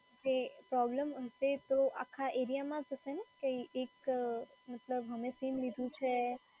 તે પ્રોબ્લેમ હશે તો આખા એરિયામાં જ હશે ને કંઈ એક મતલબ અમે સીમ લીધું છે